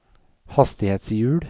hastighetshjul